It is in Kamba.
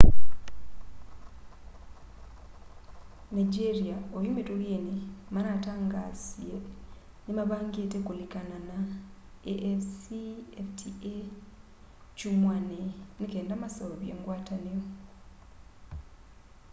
nigeria oyũ mĩtũkĩnĩ manatangaasĩe nĩmavangĩte kũlĩkana na afcfta kyũmwanĩ nĩkenda maseũvye ngwatanĩo